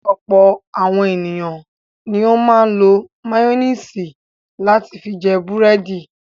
Ọ̀pọ̀ àwọn ènìyàn ni ó máa ń lo máyónísì láti fi jẹ búrẹ́dì.